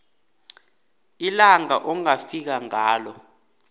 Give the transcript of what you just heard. ilanga ongafika ngalo